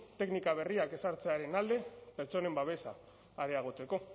teknika berriak ezartzearen alde pertsonen babesa areagotzeko